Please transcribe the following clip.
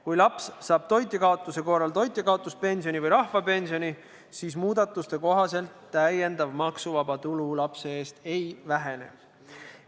Kui laps saab toitjakaotuse korral toitjakaotuspensioni või rahvapensioni, siis muudatuste kohaselt täiendav maksuvaba tulu lapse eest ei vähene.